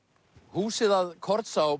húsið að